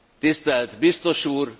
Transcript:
Tisztelt Biztos Úr!